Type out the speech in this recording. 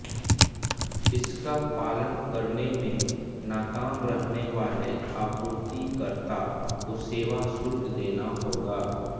इसका पालन करने में नाकाम रहने वाले आपूर्तिकर्ता को सेवा शुल्क देना होगा